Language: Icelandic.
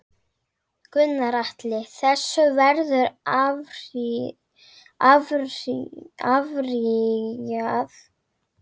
Gunnar Atli: Þessu verður áfrýjað?